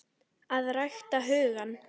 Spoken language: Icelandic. AÐ RÆKTA HUGANN